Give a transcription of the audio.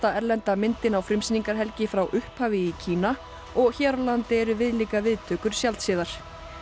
erlenda myndin á frá upphafi í Kína og hér á landi eru viðlíka viðtökur sjaldséðar